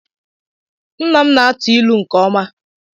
Nna m na-atụ ilu nke ọma.